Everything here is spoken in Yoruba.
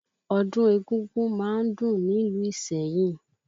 Ọdún égúngún má ń dùn nílùú Ìsẹ́yìn